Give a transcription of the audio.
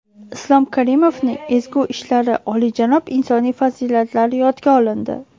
Islom Karimovning ezgu ishlari, oliyjanob insoniy fazilatlari yodga olindi.